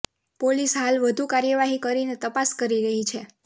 police હાલ વધુ કાર્યવાહિ કરીને તપાસ કરી રહિ છે